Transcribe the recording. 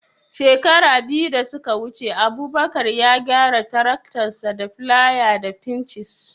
Shekara biyu da suka wuce Abubakar ya gyara taraktansa da filaya da fincis